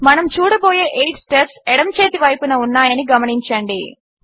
మనము చూడబోయే 8 స్టెప్స్ ఎడమచేతి వైపున ఉన్నాయని గమనించండి